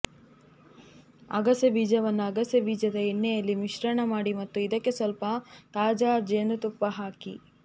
ಅಗಸೆ ಬೀಜವನ್ನು ಅಗಸೆ ಬೀಜದ ಎಣ್ಣೆಯಲ್ಲಿ ಮಿಶ್ರಣ ಮಾಡಿ ಮತ್ತು ಇದಕ್ಕೆ ಸ್ವಲ್ಪ ತಾಜಾ ಜೇನುತುಪ್ಪ ಹಾಕಿ